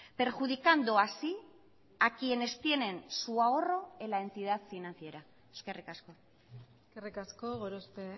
perjudicando así a quienes tienen su ahorro en la entidad financiera eskerrik asko eskerrik asko gorospe